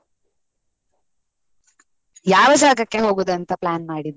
ಯಾವ ಜಾಗಕ್ಕೆ ಹೋಗುದು ಅಂತ plan ಮಾಡಿದ್ದು?